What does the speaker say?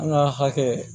An ka hakɛ